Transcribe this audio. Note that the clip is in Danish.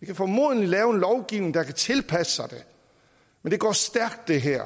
vi kan formodentlig lave en lovgivning der kan tilpasse sig det men det her